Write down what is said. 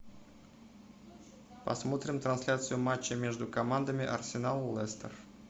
посмотрим трансляцию матча между командами арсенал лестер